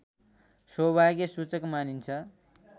सौभाग्यसूचक मानिन्छ